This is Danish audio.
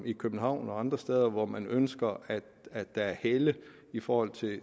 i københavn og andre steder hvor man ønsker at der er helle i forhold